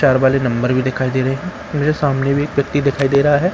चार वाले नंबर भी दिखाई दे रहे हैं मुझे सामने भी एक व्यक्ति दिखाई दे रहा है।